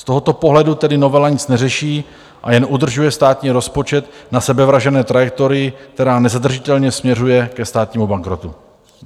Z tohoto pohledu tedy novela nic neřeší a jen udržuje státní rozpočet na sebevražedné trajektorii, která nezadržitelně směřuje ke státnímu bankrotu.